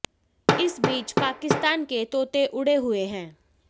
इस बीच पाकिस्तान के तोते उड़े हुए हैं